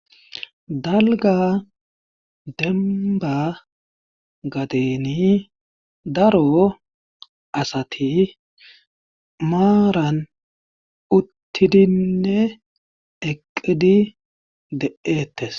Dalga demba gadeni daro asati maaran uttidinne eqqidi de'eettes.